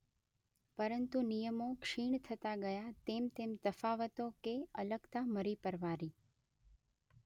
પરંતુ નિયમો ક્ષીણ થતા ગયા તેમતેમ તફાવતો કે અલગતા મરી પરવારી.